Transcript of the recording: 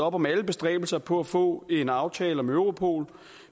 op om alle bestræbelser på at få en aftale om europol